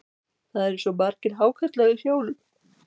Það eru svo margir hákarlar í sjónum.